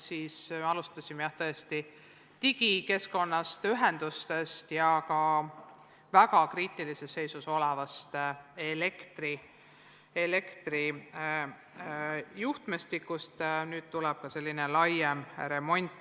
Niisiis alustasime digikeskkonnast, ühendustest ja kriitilises seisus olevast elektrijuhtmestikust, nüüd tuleb laialdasem remont.